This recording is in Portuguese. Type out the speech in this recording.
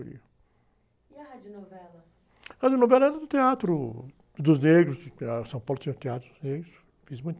E a radionovela? radionovela era do Teatro dos Negros, São Paulo tinha o Teatro dos Negros, fiz muito